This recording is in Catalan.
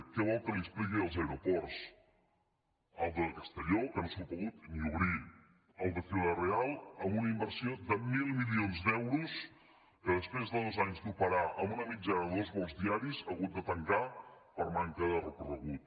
què vol que li expliqui dels aeroports el de castelló que no s’ha pogut ni obrir el de ciudad real amb una inversió de mil milions d’euros que després de dos anys d’operar amb una mitjana de dos vols diaris ha hagut de tancar per manca de recorregut